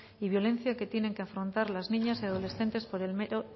y violencia que tienen que afrontar las niñas y adolescentes por el mero